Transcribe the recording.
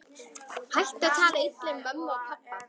Hættu að tala illa um mömmu og pabba!